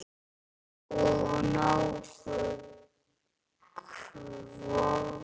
Og nógur kvóti.